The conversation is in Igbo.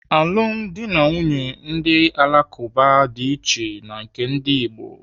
Alụm dị na nwunye ndị Alakụba dị iche na nke ndi Igbo.